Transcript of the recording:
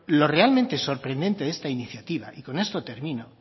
lo realmente sorprendente de esta iniciativa y con esto termino